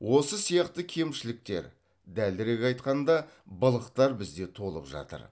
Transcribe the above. осы сияқты кемшіліктер дәлірек айтқанда былықтар бізде толып жатыр